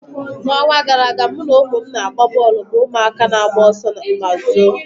N'ọnwa gara aga, mụ na ụmụ m na-agba bọọlụ bụ ụmụaka na-agba ọsọ ma zoo.